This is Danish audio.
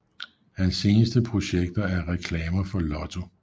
Hans seneste projekter er reklamer for Lotto